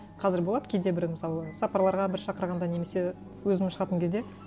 қазір болады кейде бір мысалы сапарларға бір шақырғанда немесе өзім шығатын кезде